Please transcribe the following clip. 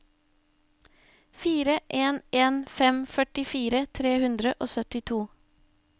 fire en en fem førtifire tre hundre og syttito